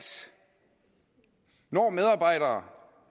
når medarbejdere